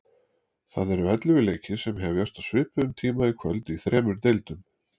Það eru ellefu leikir sem hefjast á svipuðum tíma í kvöld í þremur deildum.